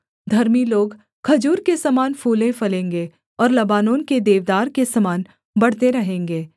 धर्मी लोग खजूर के समान फूले फलेंगे और लबानोन के देवदार के समान बढ़ते रहेंगे